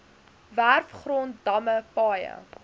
werfgrond damme paaie